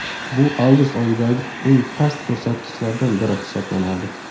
Bu avgust oyidagi eng past ko‘rsatkichlardan biri hisoblanadi.